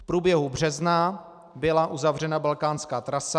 V průběhu března byla uzavřena balkánská trasa.